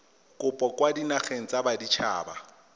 kopo kwa dinageng tsa baditshaba